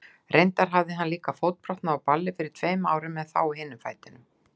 Reyndar hafði hann líka fótbrotnað á balli fyrir tveimur árum, en þá á hinum fætinum.